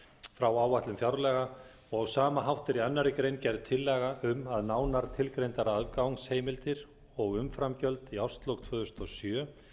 frá áætlun fjárlaga og á sama hátt er í annarri grein gerð tillaga um að nánar tilgreindar afgangsheimildir og umframgjöld í árslok tvö þúsund og sjö